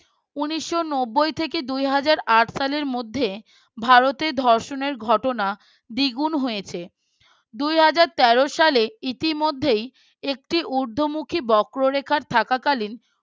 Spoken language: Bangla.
উনিশ নবই থেকে দুই হাজার আট সালের মধ্যে ভারতের ধর্ষণের ঘটনা দ্বিগুণ হয়েছে দুই হাজার তের সালে ইতিমধ্যেই একটি উর্ধ্বমুখী বক্ররেখার থাকাকালীন